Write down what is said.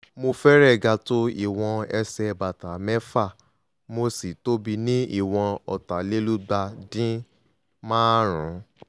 mo fẹ́rẹ̀ẹ́ ga tó ìwọ̀n ẹsẹ̀ bàtà mc´fà mo sì tóbi ní ìwọ̀n ọ̀tàlélúgba-díń-maárùn-ún